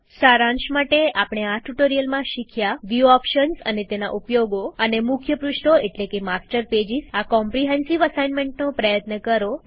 સારાંશ માટે આપણે આ ટ્યુટોરીયલમાં શીખ્યું વ્યુ ઓપ્શન્સ અને તેના ઉપયોગો અને મુખ્ય પૃષ્ઠો એટલેકે માસ્ટર પેજીસ આ કોમ્રીહેન્સીવ અસાઇનમેન્ટનો પ્રયત્ન કરો